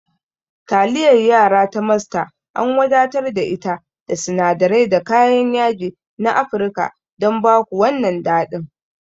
Taliyar yara ta Master an wadatar da ita da sinadirai da kayan yaji na Afirka don ba ku wannan daɗin.